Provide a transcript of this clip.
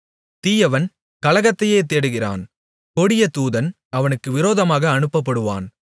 தீயவன் கலகத்தையே தேடுகிறான் கொடிய தூதன் அவனுக்கு விரோதமாக அனுப்பப்படுவான்